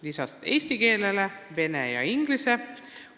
" Lisaks eesti keelele on nendeks vene ja inglise keel.